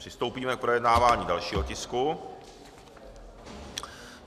Přistoupíme k projednávání dalšího tisku.